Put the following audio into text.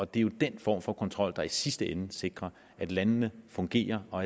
det er jo den form for kontrol der i sidste ende sikrer at landene fungerer og